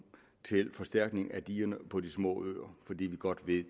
til forstærkning af digerne på de små øer fordi vi godt ved